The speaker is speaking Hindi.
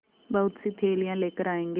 बहुतसी थैलियाँ लेकर आएँगे